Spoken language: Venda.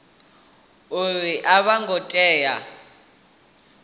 uri a vho ngo tea